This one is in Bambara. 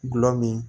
Gulɔ min